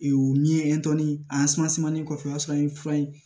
ni ye kɔfɛ o y'a sɔrɔ an ye fura ye